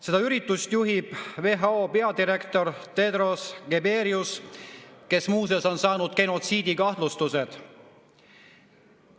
Seda üritust juhib WHO peadirektor Tedros Ghebreyesus, kes muuseas on saanud genotsiidikahtlustuse.